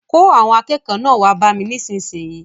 Kó àwọn akẹ́kọ̀ọ́ náà wá bá mi nísinsìnyí!